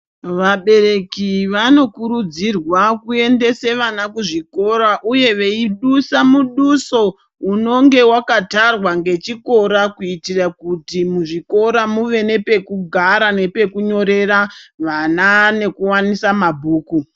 Vabereki vanokurudzirwa kuendese vana kuzvikora uye veidusa muduso unenge wakatarwa nechikora kuitira kuti muzvikora muve neepekugara nepekunyorera vana nekuwanisa mabhuku